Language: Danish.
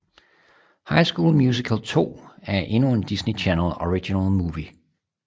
High School Musical 2 er endnu en Disney Channel Original Movie